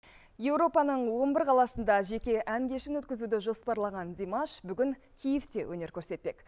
еуропаның он бір қаласында жеке ән кешін өткізуді жоспарлаған димаш бүгін киевте өнер көрсетпек